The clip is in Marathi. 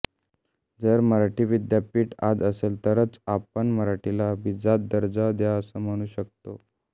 जर मराठी विद्यापीठ आज असेल तरच आपण मराठीला अभिजात दर्जा द्या असं म्हणू शकतो